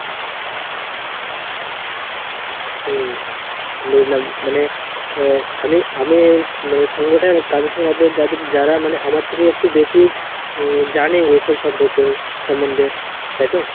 হুম বুঝলাম মানে, আহ আমি আমির মানে সঙ্গটা কাদের সঙ্গে রাখবো? যাদের যারা মানে আমার থেকে একটু বেশি উম জানে এসব সম্পর্কে সম্বন্ধে, তাই তো?